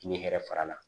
Ni hɛrɛ fara la